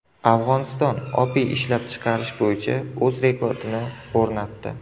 Afg‘oniston opiy ishlab chiqarish bo‘yicha o‘z rekordini o‘rnatdi.